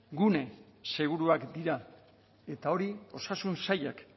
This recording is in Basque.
gune seguruak dira eta hori osasun sailak